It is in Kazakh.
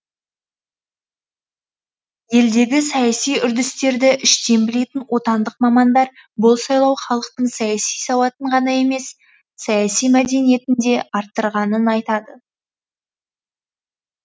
елдегі саяси үрдістерді іштен білетін отандық мамандар бұл сайлау халықтың саяси сауатын ғана емес саяси мәдениетін де арттырғанын айтады